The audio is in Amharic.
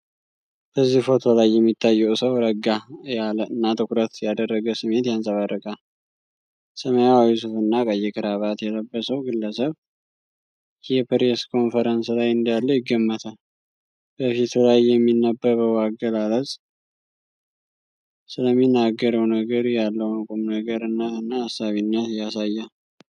በዚህ ፎቶ ላይ የሚታየው ሰው ረጋ ያለ እና ትኩረት ያደረገ ስሜት ያንጸባርቃል። ሰማያዊ ሱፍ እና ቀይ ክራባት የለበሰው ግለሰብ የፕሬስ ኮንፈረንስ ላይ እንዳለ ይገመታል። በፊቱ ላይ የሚነበበው አገላለጽ ስለሚናገረው ነገር ያለውን ቁምነገርነት እና አሳቢነት ያሳያል።